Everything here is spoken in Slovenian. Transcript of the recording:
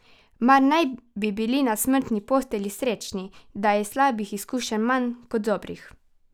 Mar naj bi bili na smrtni postelji srečni, da je slabih izkušenj manj kot dobrih?